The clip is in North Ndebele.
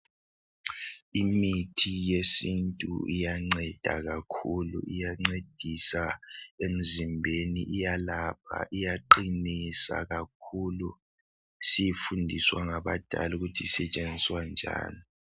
Imithi yesintu iyanceda kakhulu iyancedisa emzimbeni iyalapha iyaqinisa kakhulu sifundiswa ngabadala ukuthi isetshenziswa njani.